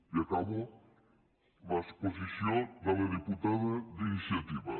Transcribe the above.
i acabo l’exposició de la diputada d’iniciativa